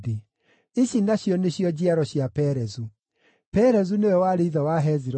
Ici nacio nĩcio njiaro cia Perezu: Perezu nĩwe warĩ ithe wa Hezironi,